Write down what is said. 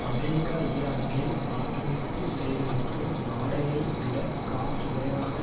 America ஈராக்கில் ஆக்கிரமிப்பு செய்துள்ளதற்கு நாடெரை விட காப் குறைவான